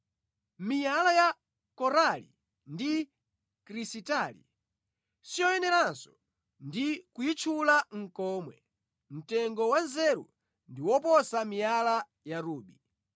Miyala ya korali ndi krisitali siyoyeneranso ndi kuyitchula nʼkomwe; mtengo wa nzeru ndi woposa miyala ya rubi.